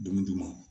Dumuni d'u ma